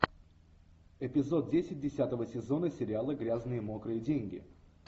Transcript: эпизод десять десятого сезона сериала грязные мокрые деньги